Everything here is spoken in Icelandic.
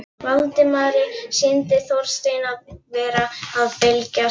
Valdimari sýndist Þorsteinn vera að belgjast út af van